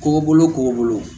Kɔgɔbolo kɔgɔ bolo